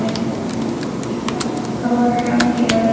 Ykkar Þóra Björk.